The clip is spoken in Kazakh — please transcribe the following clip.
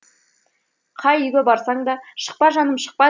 қай үйге барсаң да шықпа жаным шықпа